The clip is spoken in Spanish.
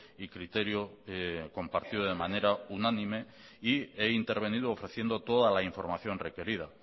y criterio compartido de manera unánime y he intervenido ofreciendo toda la información requerida